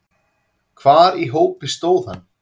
Hvar í hópi stóð hann?